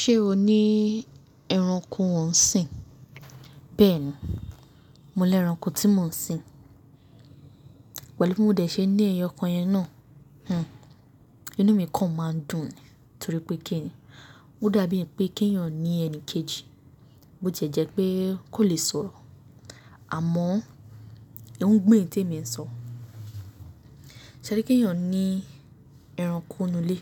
Ṣé o ní ẹranko ọ̀sìn? Bẹ́ẹ̀ni, mo ní ẹranko tí mò ń sìn. Pẹ̀lú bí mo dẹ̀ ṣe ní ẹyọkan yẹn náà, hmmm, inú mi kan máa ń dùn ni torí pé kíni, ó dàbí ẹni pé keeyàn ní ẹni kejì bó ti e jẹ́ jẹ́ pé kò lè sọ̀rọ̀ àmọ́ ó ń gbọ́ èyí tèmi ń sọ. Pẹ̀lú bí mo dẹ̀ ṣe ní ẹyọkan yẹn náà, hmmm, inú mi kan máa ń dùn ni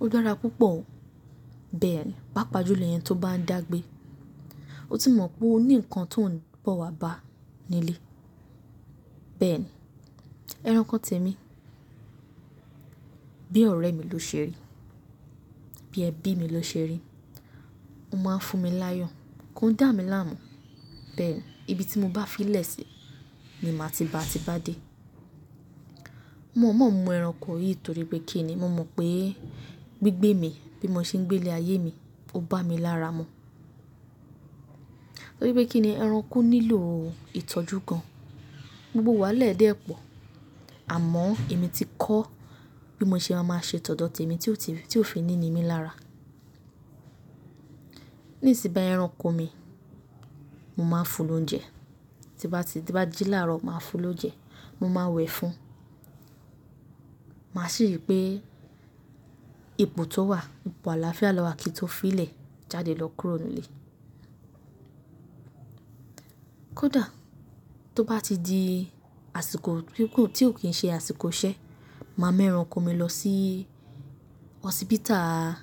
torí pé kíni, ó dàbí ẹni pé keeyàn ní ẹni kejì bẹ́ẹ̀ni, pápá jùlọ ẹni tó bá ń dàgbé. Ó ti mọ̀ pé o ní nǹkan tó ń bọ̀ wá bá a nílé. Bẹ́ẹ̀ni, ẹranko tèmi bí ọ̀rẹ́ mi ló ṣe rí, bí ẹbí mi ló ṣe rí. Ó máa ń fún mi láyọ̀, kò ń dà mí láàmú. Bẹ́ẹ̀ni, ibi tí mo bá fi lè ṣi ni màá ti ba à ti bá dé. Mo mọ̀ mọ̀ mú ẹranko yìí torí pé kíni, mo mọ̀ pé gbígbé mi bí mo ṣe ń gbé lé ayé mi, ó bá mi lára mu. Torí pé kíni ẹranko nílò ìtọ́jú gan-an. Gbogbo wa ẹ̀ dẹ́pọ̀ àmọ́ èmi ti kọ́ bí mo ṣe máa ṣe tọ́ dọ̀tí mi tí ó fi ní ní mi lára. Nísìn bàyi ẹranko mi, mo máa ń fún lóúnjẹ, tí bá jí láàárọ̀ máa fún ló oúnjẹ, mo máa wẹ̀ fún un. Màá sì rí pé ipò tó wà, ipò àlàáfíà ló wà kí i tó fi lè jáde lọ kúrò nù lé. Kódà tó bá ti di àsìkò gbím tí ó kì í ṣe àsìkò iṣẹ́, màá mú ẹranko mi lọ sí hospital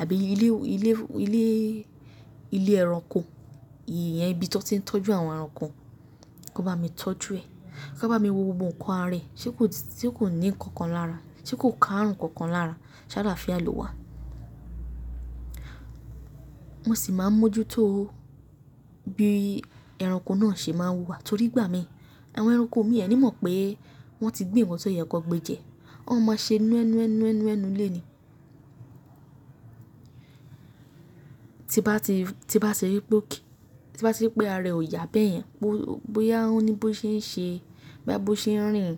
àbí ilé, ilé, ilé ẹranko, ìyẹn ibí tan ti ń tọ́jú àwọn ẹranko, kan bá mi tọ́jú ẹ̀, kan bá mi wo gbogbo ǹkan ara ẹ̀ ṣe kò ní nǹkan kan lára, ṣe kò ká ààrùn kan kan lára ṣálaáfià lowà. Mo sì máa ń mójútó bí ẹranko náà ṣe máa ń wù wà torí gbà mí. Àwọn ẹranko mi ẹni mọ̀ pé wọ́n ti gbé ǹkan tí ó yẹ kan gbé jẹ, wọ́n máa ma ṣe núe nue, nú nue, inú ẹnu lé ni. Ti bá ti rí pé àrẹ̀ ò yá bẹ́ẹ̀ yẹn, bóyá ó ní bó ṣe ń ṣe, bóyá bó ṣe ń rìn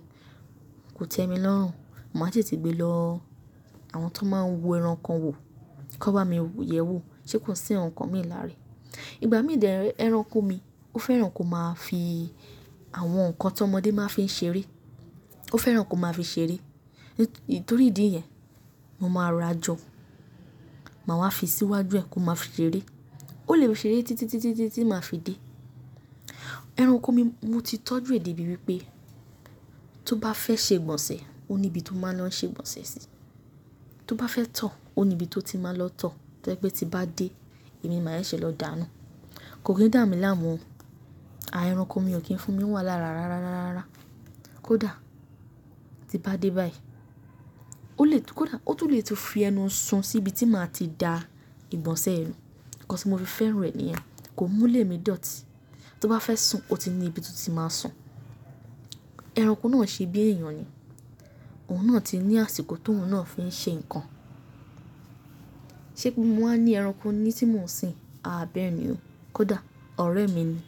kò tẹmi lọ́rùn. Màá tètè gbé lọ àwọn tó máa n yẹranko wò kan bá mi yẹ̀ ẹ́ wò ṣe kò sì nǹkan mi lára rẹ̀. Ìgbà mí dẹ̀ re ẹranko mi ó fẹ́ràn kó máa fi àwọn ǹkan tọmọdé máa fi ń ṣeré, ó fẹ́ràn kó máa fi ṣeré. Nítorí ìdí yẹn, mo máa ra jọ, màá wá fi síwájú ẹ kó máa fi ṣeré. Ó lè ṣeré títí, títí, títí màá fi dé. Ẹranko mi mo ti tọ́jú è dè bíi wípé tó bá fẹ́ ṣe ìgbọ̀nsẹ̀ ó ní ibi tó máa lọ ṣe ìgbọ̀nsẹ̀ sí. Tó bá fẹ́ tọ̀ ọ́ ó ní ibi tó ti máa lọ tọ̀ tọ́ jẹ́ pe tí n bá dé èmi máa ṣe lọ dàá nù. Kò kí ń dà mí láàmú, à ẹranko mi ò kí ń fún mi wà rára, rára, rára, rára. Kódà tí bá dé báyìí, ó lè tún fi ẹnu ń sun sí ibi tí màá ti da ìgbọ̀nsẹ̀ ẹ nù. Ǹkan tí mo fi fẹ́ràn rẹ̀ ni ẹ́, kò múlé mi dọ̀tí. Tó bá fẹ́ sùn ó ti ní ibi tó ti máa sùn. Ẹranko náà ṣe bí èèyàn ni. Òun náà ti ní àsìkò tóun ńaa fi n ṣe ǹkan. Ṣé bí mo wà ní ẹranko nílé tí mò ń sìn? A bẹ́ẹ̀ni o. Kódà ọ̀rẹ́ mi ni.